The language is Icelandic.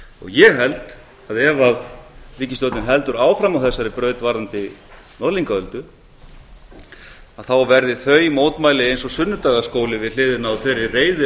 ég held að ef ríkisstjórnin heldur áfram á þessari braut varðandi norðlingaöldu verði þau mótmæli eins og sunnudagaskóli við hliðina á þeirri